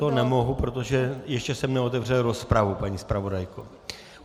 To nemohu, protože ještě jsem neotevřel rozpravu, paní zpravodajko.